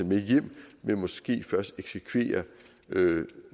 med hjem men måske først eksekvere